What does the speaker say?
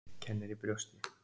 Kennir í brjósti.